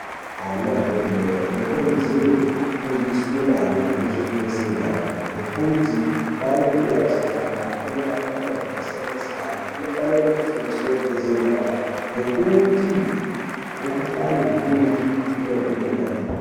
Ana adodori anokurudzirwa kufundiswa maringe nezvekugeza nyara nekuti kwaaanobva achitamba anenge abata zvakasiyana siyana anofanirwa kugeza nyara nekuti mukuhlani mizhinji inobve kunyara.